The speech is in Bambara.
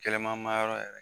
Kɛlɛma manyɔrɔ